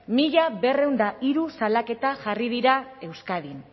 mila berrehun eta hiru salaketa jarri dira euskadin